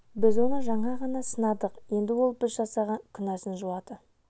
біз оны жаңа ғана сынадық енді ол біз жасаған күнәсін жуады